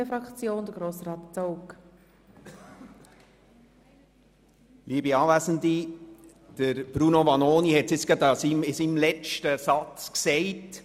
Bruno Vanoni hat es jetzt gerade in seinem letzten Satz zum Ausdruck gebracht: